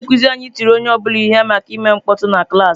Onye nkuzi anyị tiri onye ọ bụla ihe maka ime mkpọtụ na klaasị.